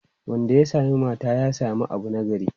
Wanda ya sami mata, ya sami abu nagari.